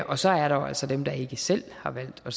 og så er der jo altså dem der ikke selv har valgt at